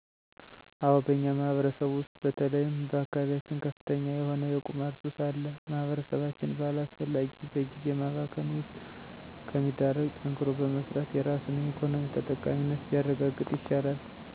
አዎ በእኛ ማህበረሰብ ውሰጥ በተለይም በአካባቢየችን ከፍተኛ የሆነ የቁማር ሱስ አለ። ማህበረሰባችን በአላሰፈላጊ በግዜ ማባከን ውሰጥ ከሚዳረግ ጠንክሮ በመሰራት የራሱን የኢኮኖሚ ተጠቃሚነት ቢያረጋግጥ ይሻላል።